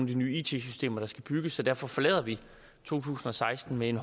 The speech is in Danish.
de nye it systemer der skal bygges derfor forlader vi to tusind og seksten med en